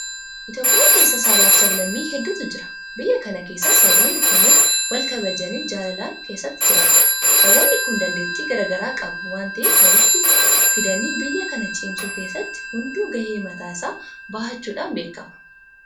Itoophiyaa keessa sabaafi sablammii hedduutu jiraata. Biyya kana keessatti saboonni kunneen walkabajanii jaalalaan keessa jiraatu. Saboonni kun dandeettii garaa garaa qabu waanta'eef walitti fidanii biyya kana cimsuu keessatti hunduu gahee mataa isaa bahachuudhaan beekama.